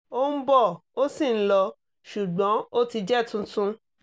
ó ń bọ̀ ó sì ń lọ ṣùgbọ́n ó ti jẹ́ tuntun